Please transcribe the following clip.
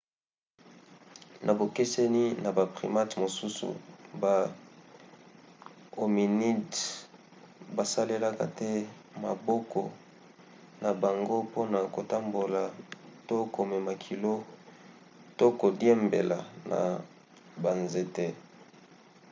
na bokeseni na ba primates mosusu ba hominidés basalelaka te maboko na bango mpona kotambola to komema kilo to kodiembela na banzete